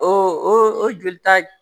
O o joli ta